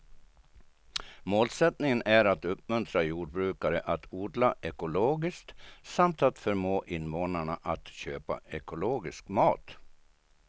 Målsättningen är att uppmuntra jordbrukare att odla ekologiskt samt att förmå invånarna att köpa ekologisk mat.